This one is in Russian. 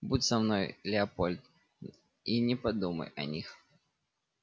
будь со мной леопольд и не по думай о них